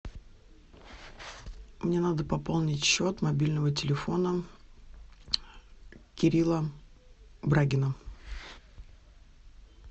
мне надо пополнить счет мобильного телефона кирилла брагина